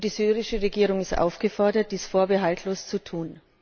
Die syrische Regierung ist aufgefordert, dies vorbehaltlos zu tun.